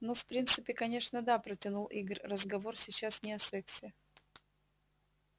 ну в принципе конечно да протянул игорь разговор сейчас не о сексе